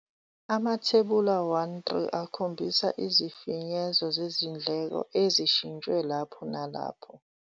Amathebula 1 3 akhombisa izifinyezo zezindleko ezishintshwe lapho nalapho.